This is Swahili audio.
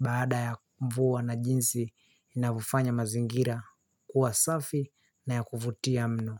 baada ya mvua na jinsi inavyofanya mazingira kuwa safi na ya kuvutia mno.